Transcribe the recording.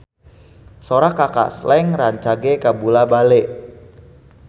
Sora Kaka Slank rancage kabula-bale